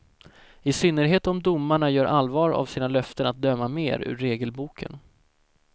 I synnerhet om domarna gör allvar av sina löften att döma mer ur regelboken.